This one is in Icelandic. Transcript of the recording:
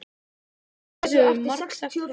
Við höfum margsagt frá því.